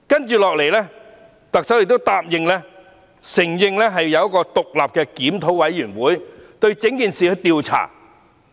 接着，特首亦答應成立一個獨立檢討委員會調查整件事件。